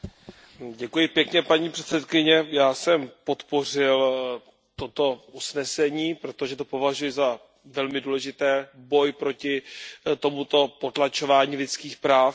Paní předsedající, já jsem podpořil toto usnesení, protože to považuji za velmi důležitý boj proti tomuto potlačování lidských práv, konkrétně dětí.